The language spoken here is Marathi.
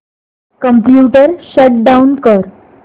कम्प्युटर शट डाउन कर